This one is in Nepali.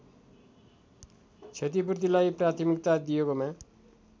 क्षतिपूर्तिलाई प्राथमिकता दिएकोमा